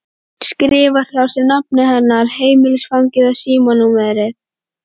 Skrifar hjá sér nafnið hennar, heimilisfangið og símanúmerið.